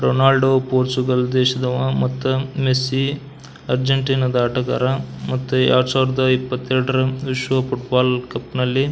Ronald Portugal ದೇಶದವ ಮತ್ತು Messi Argentina ಆಟಗಾರ ಮತ್ತ ಎರಡು ಸಾವಿರದ ಇಪ್ಪತ್ತೆರಡರ ಶೋ ಫುಟ್ಬಾಲ್ ಕಪ್ನಲ್ಲಿ --